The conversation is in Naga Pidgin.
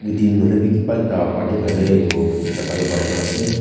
weeding hoilebi ki ba ekta party karne itu jagah banai na ase.